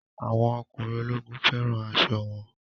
Àwọn ọkùnrin ológun fẹ́ràn aṣọ wọn